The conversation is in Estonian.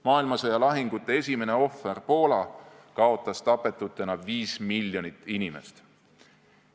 Maailmasõja lahingute esimene ohver Poola kaotas tapetutena 5 miljonit inimest.